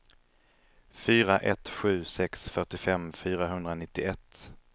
fyra ett sju sex fyrtiofem fyrahundranittioett